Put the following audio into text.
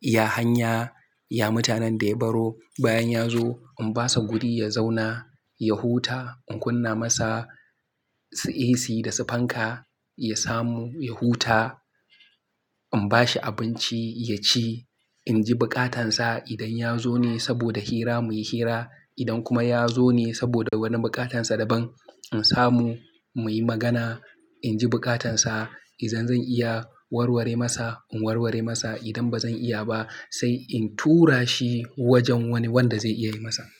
ya hanya, ya mutanen da ya baro." Bayan ya zo in ba shi gudi ya zauna, ya huta. In kunna masa AC da sifanka ya samu ya huta. In ba shi abinci ya ci. In ji buƙatansa idan ya zo ne saboda hira muyi hira. Idan kuma ya zo ne saboda wani buƙatansa daban, in samu muyi magana. In ji buƙatansa. Idan zan iya warware masa in warware masa. Idan ba zan iya ba sai in tura shi wajen wani wanda zai iya yi masa.